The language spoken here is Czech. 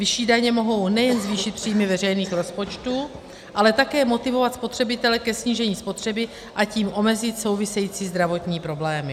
Vyšší daně mohou nejen zvýšit příjmy veřejných rozpočtů, ale také motivovat spotřebitele ke snížení spotřeby, a tím omezit související zdravotní problémy.